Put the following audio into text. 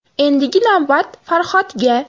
Endigi navbat Farhodga.